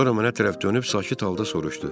Sonra mənə tərəf dönüb sakit halda soruştu.